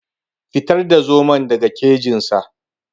Fitar da zomon daga kejin sa.